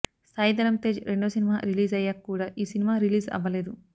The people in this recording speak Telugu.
సాయి ధరం తేజ్ రెండో సినిమా రిలీజ్ అయ్యాక కూడా ఈ సినిమా రిలీజ్ అవ్వలేదు